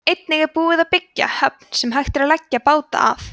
einnig er búið að byggja höfn sem hægt er að leggja báta að